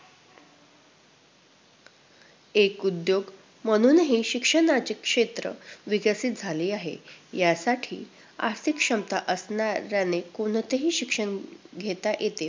एक उद्योग म्हणूनही शिक्षणाचे क्षेत्र विकसित झाले आहे. यासाठी आर्थिक क्षमता असणाऱ्याने कोणतेही शिक्षण घेता येते.